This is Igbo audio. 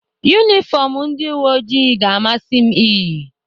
Yunifọmụ ndị uweojii ga-amasị m iyi.